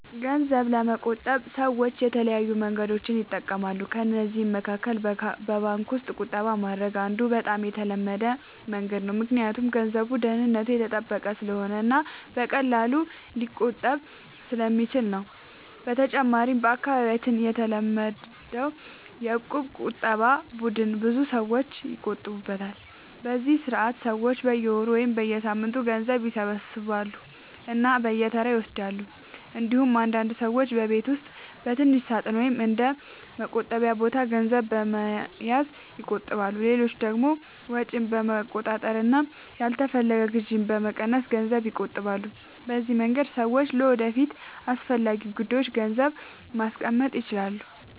ገንዘብ ለመቆጠብ ሰዎች የተለያዩ መንገዶችን ይጠቀማሉ። ከእነዚህ መካከል በባንክ ውስጥ ቁጠባ ማድረግ አንዱ በጣም የተለመደ መንገድ ነው፣ ምክንያቱም ገንዘቡ ደህንነቱ የተጠበቀ ስለሆነ እና በቀላሉ ሊቆጠብ ስለሚችል ነው። በተጨማሪም በአካባቢያችን የተለመደው የእቁብ ቁጠባ ቡድን ብዙ ሰዎች ይጠቀሙበታል፤ በዚህ ስርዓት ሰዎች በየወሩ ወይም በየሳምንቱ ገንዘብ ይሰበስባሉ እና በተራ ይወስዳሉ። እንዲሁም አንዳንድ ሰዎች በቤት ውስጥ በትንሽ ሳጥን ወይም በእንደ “ቆጣቢ ቦታ” ገንዘብ በመያዝ ይቆጥባሉ። ሌሎች ደግሞ ወጪን በመቆጣጠር እና ያልተፈለገ ግዢ በመቀነስ ገንዘብ ይቆጥባሉ። በዚህ መንገድ ሰዎች ለወደፊት አስፈላጊ ጉዳዮች ገንዘብ ማስቀመጥ ይችላሉ።